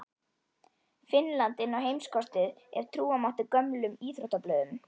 Finnland inn á heimskortið ef trúa mátti gömlum íþróttablöðum.